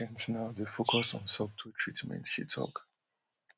ent now dey focus on subtle treatments she tok